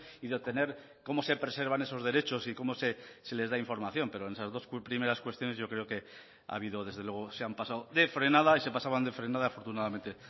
y de obtener cómo se preservan esos derechos y cómo se les da información pero en esas dos primeras cuestiones yo creo que ha habido desde luego se han pasado de frenada y se pasaban de frenada afortunadamente